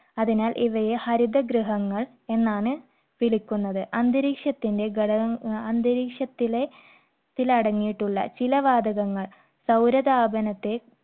അതിനാൽ ഇവയെ ഹരിതഗൃഹങ്ങൾ എന്നാണ് വിളിക്കുന്നത്. അന്തരീക്ഷത്തിന്റെ ഘടക~അന്തരീക്ഷത്തിലെ~ത്തിൽ അടങ്ങിയിട്ടുള്ള ചില വാതകങ്ങൾ സൗര താപനത്തെ